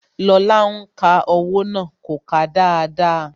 Lóla ń ka owó náà. kò kà á dáadáa